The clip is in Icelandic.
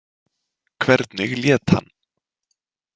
Hvernig lét hann?